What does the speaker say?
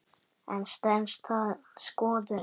En stenst það skoðun?